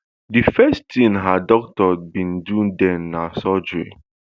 di first tin her doctors bin do den na surgery